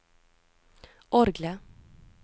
orgelet